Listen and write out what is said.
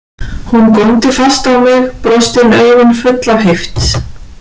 Hún góndi fast á mig, brostin augun full af heift.